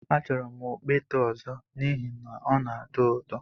Achọrọ m okpete ọzọ n'ihi na ọ na-atọ ụtọ